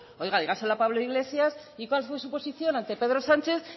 dígaselo a pablo iglesias y cuál fue su posición ante pedro sánchez